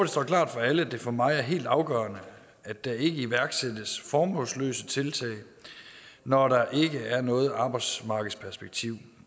står klart for alle at det for mig er helt afgørende at der ikke iværksættes formålsløse tiltag når der ikke er noget arbejdsmarkedsperspektiv